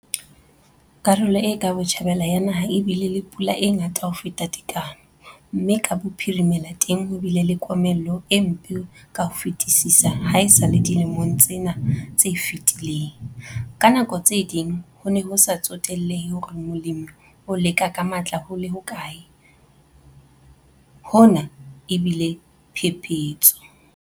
Karolo e ka botjhabela ya naha e bile le pula e ngata ho feta tekano mme ka bophirimela teng ho bile le komello e mpe ka ho fetisisa haesale dilemong tsena tse fetileng - ka nako tse ding ho ne ho sa tsotellehe hore molemi o leka ka matla ho le hokae, hona e bile phephetso.